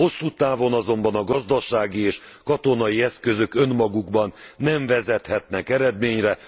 Hosszú távon azonban a gazdasági és katonai eszközök önmagukban nem vezethetnek eredményre.